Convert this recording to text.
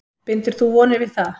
Bindur þú vonir við það?